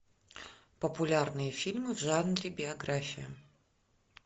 популярные фильмы в жанре биография